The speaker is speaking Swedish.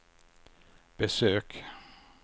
besök